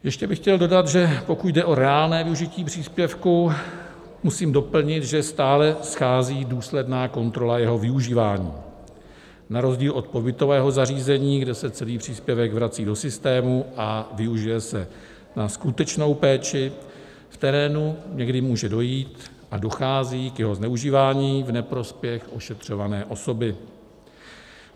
Ještě bych chtěl dodat, že pokud jde o reálné využití příspěvku, musím doplnit, že stále schází důsledná kontrola jeho využívání na rozdíl od pobytového zařízení, kde se celý příspěvek vrací do systému a využije se na skutečnou péči v terénu, kdy může dojít a dochází k jeho zneužívání v neprospěch ošetřované osoby.